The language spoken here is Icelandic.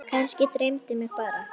Kannski dreymdi mig bara.